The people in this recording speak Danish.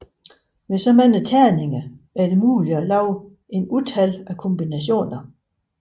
Med så mange terninger er det muligt at lave et utal af kombinationer